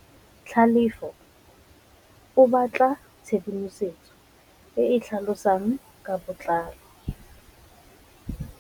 Tlhalefô o batla tshedimosetsô e e tlhalosang ka botlalô.